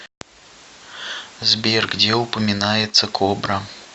сбер где упоминается кобра